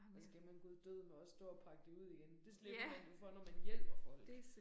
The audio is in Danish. Og så skal man guddødeme også stå og pakke det ud igen. Det slipper man jo for når man hjælper folk